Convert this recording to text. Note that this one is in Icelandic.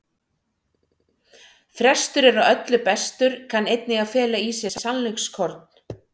Frestur er á öllu bestur kann einnig að fela í sér sannleikskorn.